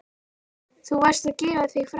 Þú varðst að gefa þig fram.